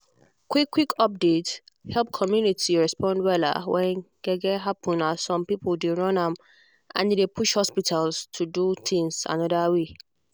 quick quick update help community respond wella when gbege happen as some people dey run am and e dey push hospital to do things another way.